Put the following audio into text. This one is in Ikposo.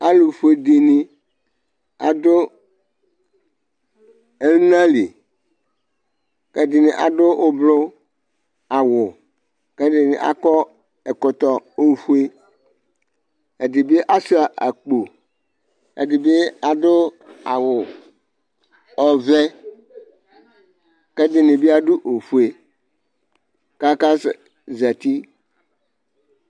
Alʋfue dini adʋ ɛna li kʋ ɛdini adʋ ʋblɔʋ awʋ kʋ ɛdini bi akɔ ɛkɔtɔ ofue Ɛdi bi asʋa akpo Ɛdini bi adʋ awʋ ɔvɛ kɛ ɛdini bi adʋ ofue kakasɛ zati